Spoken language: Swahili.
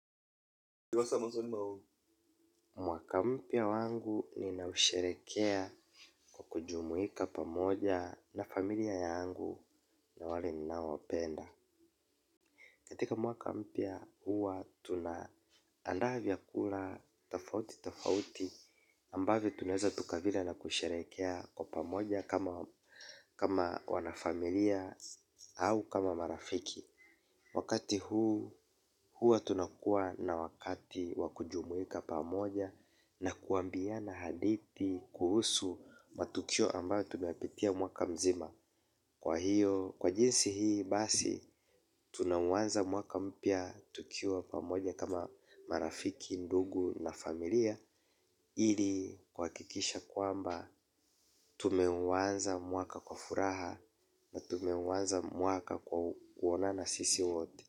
Mwaka mpya wangu ninausherehekea kwa kujumuika pamoja na familia yangu na wale ninawapenda. Katika mwaka mpya huwa tunaandaa vyakula tafauti tafauti ambavyo tunaweza tukavila na kusherehekea kwa pamoja kama wanafamilia au kama marafiki. Wakati huu, huwa tunakuwa na wakati wakujumuika pamoja na kuambiana haditi kuhusu matukio ambayo tumeyapitia mwaka mzima. Kwa hiyo, kwa jinsi hii basi, tunauanza mwaka mpya tukiwa pamoja kama marafiki, ndugu na familia. Ili kuhakikisha kwamba, tumeuanza mwaka kwa furaha na tumeuanza mwaka kwa kuonana sisi wote.